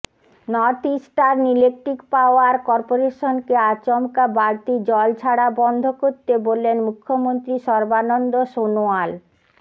north Eastern Electric Power করপোরেশনকে আচমকা বাড়তি জল ছাড়া বন্ধ করতে বললেন মুখ্যমন্ত্ৰী সর্বানন্দ সোনোয়াল